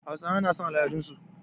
Hausawa na son al'adun su